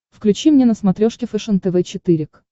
включи мне на смотрешке фэшен тв четыре к